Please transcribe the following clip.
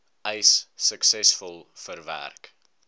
eis suksesvol verwerk